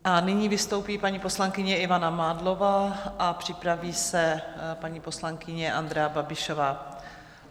A nyní vystoupí paní poslankyně Ivana Mádlová a připraví se paní poslankyně Andrea Babišová.